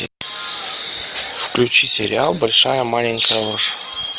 включи сериал большая маленькая ложь